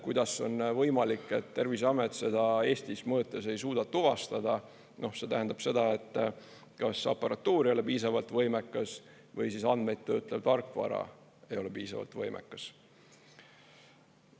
Kuidas on võimalik, et Terviseamet seda Eestis mõõtes ei suuda tuvastada, see tähendab seda, et kas aparatuur ei ole piisavalt võimekas või andmeid töötlev tarkvara ei ole piisavalt võimekas.